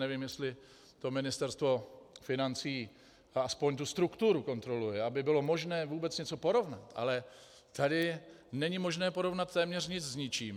Nevím, jestli to Ministerstvo financí, aspoň tu strukturu, kontroluje, aby bylo možné vůbec něco porovnat, ale tady není možné porovnat téměř nic s ničím.